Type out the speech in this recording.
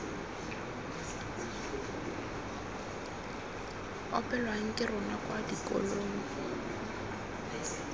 opelwang ke rona kwa dikolong